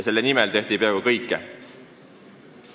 Selle nimel tehti peaaegu kõike.